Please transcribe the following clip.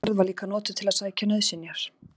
Sú ferð var líka notuð til að sækja nauðsynjar.